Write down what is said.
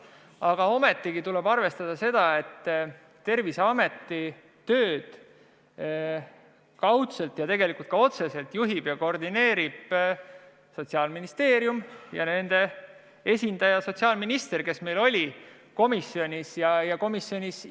Aga ometigi tuleb arvestada, et Terviseameti tööd kaudselt ja tegelikult ka otseselt juhib ja koordineerib Sotsiaalministeerium ja selle esindaja sotsiaalminister, kes oli meil komisjonis.